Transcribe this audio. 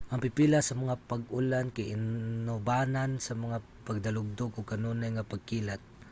ang pipila sa mga pag-ulan kay inubanan sa mga pagdalugdog ug kanunay nga pagkilat